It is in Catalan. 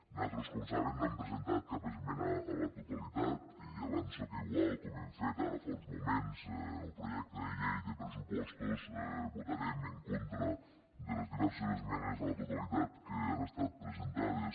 nosaltres com saben no hem presentat cap esmena a la totalitat i avanço que igual com hem fet ara fa uns moments en el projecte de llei de pressupostos votarem en contra de les diverses esmenes a la totalitat que han estat presentades